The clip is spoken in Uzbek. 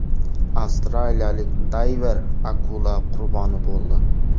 Avstraliyalik dayver akula qurboni bo‘ldi.